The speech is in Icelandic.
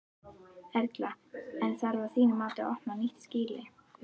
Erla: En þarf að þínu mati að opna nýtt skýli?